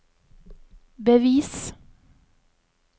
bevis